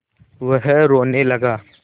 वह रोने लगा